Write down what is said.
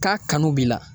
K'a kanu b'i la